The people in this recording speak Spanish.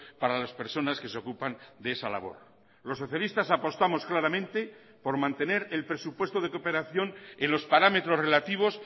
para las personas que se ocupan de esa labor los socialistas apostamos claramente por mantener el presupuesto de cooperación en los parámetros relativos